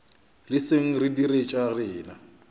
leseng re dire tša rena